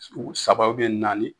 u Sababu ye naani